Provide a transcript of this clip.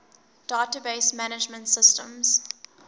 database management systems